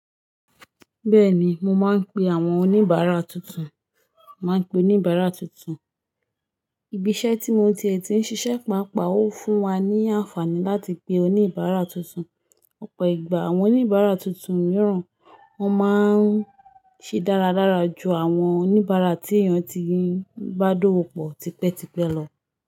Bẹ́ẹ̀ni, mo máa ń pe àwọn oníbàárà tuntun, n màá n pe oníbàárà tuntun. Ibi iṣẹ́ tí mo ti ètí ń ṣiṣẹ́, pàápàá ó fún wa ní àǹfààní láti pe oníbàárà tuntun. Ọ̀pọ̀ ìgbà àwọn oníbàárà tuntun mìíràn wọn máa ń ṣe dáradára ju àwọn oníbàárà tí èèyàn ti bá dówò pọ̀ tipẹ́tipẹ́ lọ.